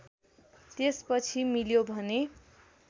त्यसपछि मिल्यो भने